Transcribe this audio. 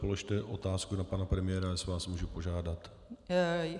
Položte otázku na pana premiéra, jestli vás můžu požádat.